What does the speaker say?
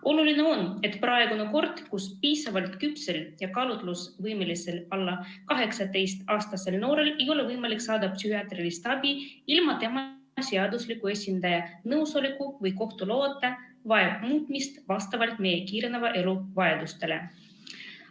Oluline on, et praegune kord, kus piisavalt küpsel ja kaalutlusvõimelisel alla 18-aastasel noorel ei ole võimalik saada psühhiaatrilist abi ilma tema seadusliku esindaja nõusolekuta või kohtu loata, vajab muutmist vastavalt meie kiireneva elu vajadustele.